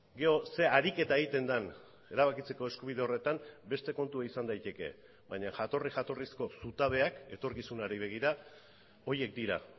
gero ze ariketa egiten den erabakitzeko eskubide horretan beste kontua izan daiteke baina jatorri jatorrizko zutabeak etorkizunari begira horiek dira